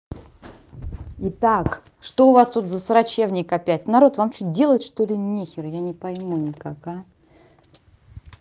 итак что у вас тут за срачевник опять народ вам что делать что ли нехер я не пойму никак а